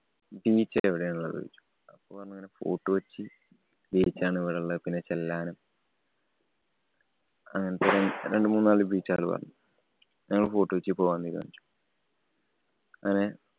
Beach ല് എവിടാ ഉള്ളേ എന്ന് ചോദിച്ചു. അപ്പൊ പറഞ്ഞു ഇങ്ങനെ ഫോര്‍ട്ട്‌ കൊച്ചി beach ആണ് ഇവിടെള്ളേ പിന്നെ ചെല്ലാനം. അങ്ങനത്തെ രണ്ടു മൂന്നാല് beach കള് പറഞ്ഞു. ഞങ്ങള് ഫോര്‍ട്ട്‌ കൊച്ചിയില്‍ പോകാം എന്ന് വിചാരിച്ചു. അങ്ങനെ